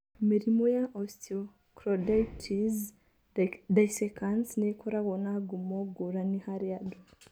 Mĩrimũ ya osteochondritis dissecans nĩ ĩkoragwo na ngumo ngũrani harĩ andũ.